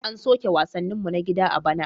An soke wasanninmu na gida a bana.